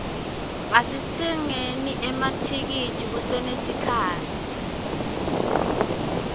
asitsengeni emathikithi kusenesikhatsi